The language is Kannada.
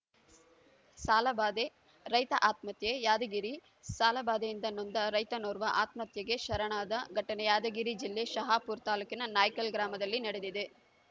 ಸಾಲಬಾಧೆ ರೈತ ಆತ್ಮಹತ್ಯೆ ಯಾದಗಿರಿ ಸಾಲಬಾಧೆಯಿಂದ ನೊಂದ ರೈತನೋರ್ವ ಆತ್ಮಹತ್ಯೆಗೆ ಶರಣಾದ ಘಟನೆ ಯಾದಗಿರಿ ಜಿಲ್ಲೆ ಶಹಾಪುರ ತಾಲೂಕಿನ ನಾಯ್ಕಲ್‌ ಗ್ರಾಮದಲ್ಲಿ ನಡೆದಿದೆ